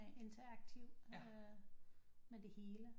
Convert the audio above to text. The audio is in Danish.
Interaktiv med det hele